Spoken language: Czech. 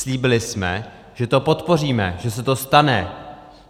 Slíbili jsme, že to podpoříme, že se to stane.